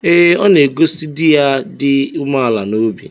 Ee, ọ na-egosi di ya dị umeala n’obi.